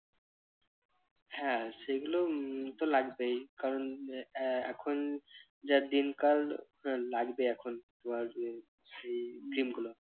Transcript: হ্যাঁ সেগুলো উম তো লাগবেই কারণ আহ এখন যা দিনকাল লাগবে এখনতোমার cream গুলো।